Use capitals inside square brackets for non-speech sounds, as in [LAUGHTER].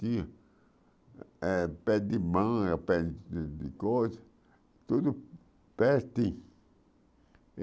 Tinha eh pé de manga, pé de de coisa, tudo. [UNINTELLIGIBLE]